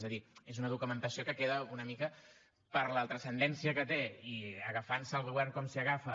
és a dir és una documentació que queda una mica per la transcendència que té i agafant se el govern com s’hi agafa